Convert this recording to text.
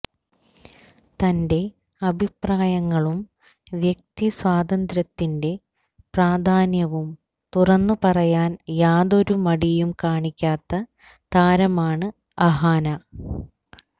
തന്റെ അഭിപ്രായങ്ങളും വ്യക്തി സ്വാതന്ത്ര്യത്തിന്റെ പ്രാധാന്യവും തുറന്നു പറയാൻ യാതൊരു മടിയും കാണിക്കാത്ത താരമാണ് അഹാന